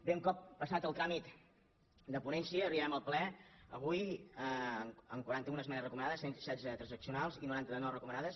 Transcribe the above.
bé un cop passat el tràmit de ponència arribem al ple avui amb quaranta un esmenes recomanades cent i setze de transacci·onals i noranta de no recomanades